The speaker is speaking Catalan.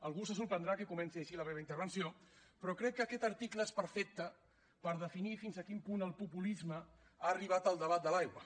algú se sorprendrà que comenci així la meva intervenció però crec que aquest article és perfecte per definir fins a quin punt el populisme ha arribat al debat de l’aigua